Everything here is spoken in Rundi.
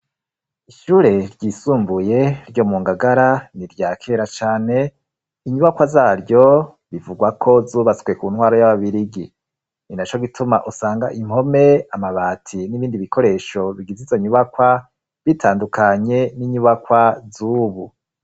Ishure ryisumbuye ryo mu ngagara n'iryakera cane inyubakwa zaryo bivugwa ko zubatswe ku ntwaro y'ababirigi ninaco gituma usanga impome amabati n'ibindi bikoresho bigize izo nyubakwa bitandukanye n'inyubakwa zubu.